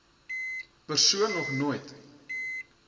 persoon nog nooit